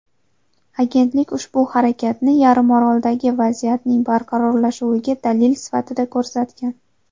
Agentlik ushbu harakatni yarimoroldagi vaziyatning barqarorlashuviga dalil sifatida ko‘rsatgan.